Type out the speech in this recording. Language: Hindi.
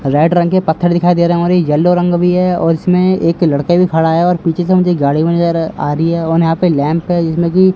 रेड रंग के पत्थर दिखाई दे रहे हैं और एक येलो रंग भी है और इसमें एक लड़के भी खड़ा है और पीछे से मुझे गाड़ी भी नजर आ रही है और यहां पर लैंप है जिसमें कि --